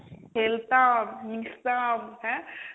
খেলতাম, মিশতাম, হ্যাঁ?